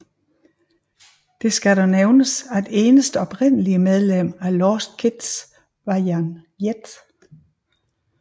Det skal dog nævnes at eneste oprindelige medlem af Lost Kids var Jan Jet